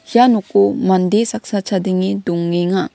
ia noko mande saksa chadenge dongenga.